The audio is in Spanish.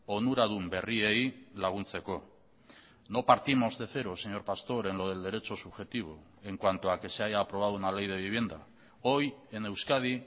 onuradun berriei laguntzeko no partimos de cero señor pastor en lo del derecho subjetivo en cuanto a que se haya aprobado una ley de vivienda hoy en euskadi